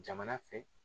Jamana fɛ